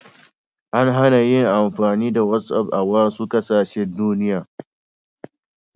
An hana yin amfani da whatsapp a wasu ƙasashen duniya.